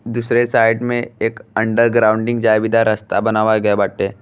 दूसरे साइड में एक अंडर ग्राउंडिंग जाए बिधा रास्ता बनावा गए बाटे।